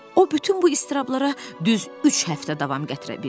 O bütün bu istirablara düz üç həftə davam gətirə bildi.